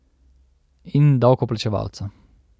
In davkoplačevalca.